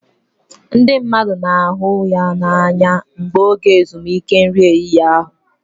Ndị mmadụ na-ahụ ya n'anya mgbe oge ezumike nri ehihie ruru